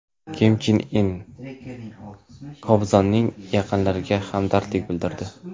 Kim Chen In Kobzonning yaqinlariga hamdardlik bildirdi.